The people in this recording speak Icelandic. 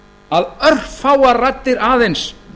að örfáar raddir aðeins